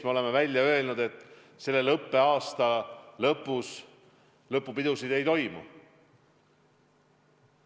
Me oleme välja öelnud, et selle õppeaasta lõpus lõpupidusid ei toimu.